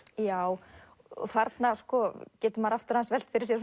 já þarna getur maður aftur aðeins velt fyrir sér